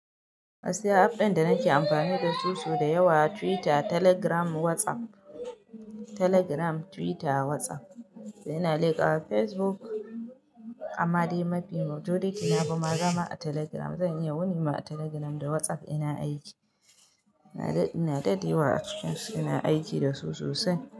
Gaskiya app ɗin da nake amfani dasu sau da yawa Twitter, Telegram, WhatsApp. Telegram, Twitter, WhatsApp. Sai ina liƙa wa Facebook amma dai mafi majority na bima zama a Telegram. Zan iya wuni ma a Telegram da WhatsApp ina aiki. Ina daɗi wa a cikin su, ina aiki da su sosai.